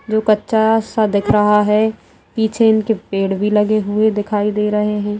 जो कच्चा सा दिख रहा है पीछे इनके पेड़ भी लगे हुए दिखाई दे रहे हैं।